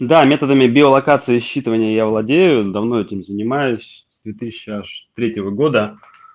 да методами биолокации считывания я владею давно этим занимаюсь с две тысячи аж третьего года